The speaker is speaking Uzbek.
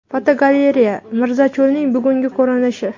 Fotogalereya: Mirzacho‘lning bugungi ko‘rinishi.